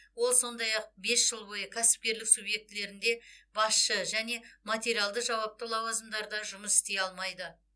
ол сондай ақ бес жыл бойы кәсіпкерлік субъектілерінде басшы және материалды жауапты лауазымдарда жұмыс істей алмайды